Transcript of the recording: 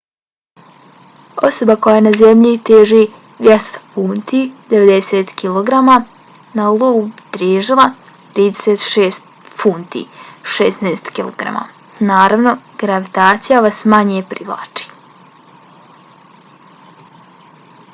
osoba koja na zemlji teži 200 funti 90kg na iou bi težila oko 36 funti 16kg. naravno gravitacija vas manje privlači